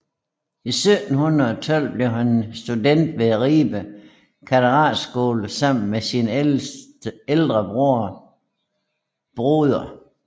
I 1712 blev han student ved Ribe Katedralskole sammen med sin ældre bror Broder